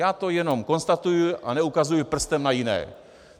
Já to jenom konstatuju a neukazuju prstem na jiné.